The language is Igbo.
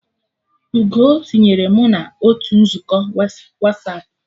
Ugoo tinyere mụ na otu nzukọ Wasapụ